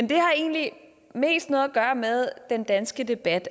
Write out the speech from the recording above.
det har egentlig mest noget at gøre med den danske debat